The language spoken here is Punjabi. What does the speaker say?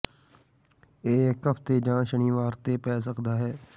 ਇਹ ਇੱਕ ਹਫਤੇ ਜਾਂ ਸ਼ਨੀਵਾਰ ਤੇ ਪੈ ਸਕਦਾ ਹੈ